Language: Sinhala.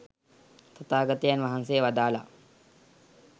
තථාගතයන් වහන්සේ වදාළා.